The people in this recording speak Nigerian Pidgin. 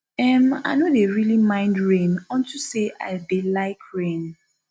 um i no dey really mind rain unto say i dey like rain